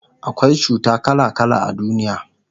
akwai cuta kala kala a duniya